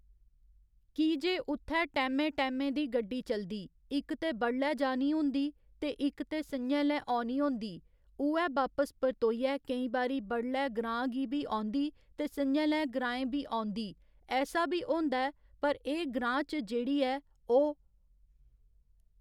की जे उत्थैं टैमें टैमें दी गड्डी चलदी इक्क ते बडलै जानी होंदी ते इक्क ते संञै लै औनी होंदी उ'ऐ बापस परतोइयै केईं बारी बडलै ग्रांऽ गी बी औंदी ते संञै लै ग्राएं बी औंदी ऐसा बी होंदा ऐ पर एह् ग्रांऽ च जेह्ड़ी ऐ ओह्